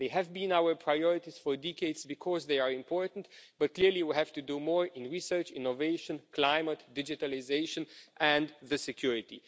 They have been our priorities for decades because they are important, but clearly we have to do more in research, innovation, climate, digitalisation and security.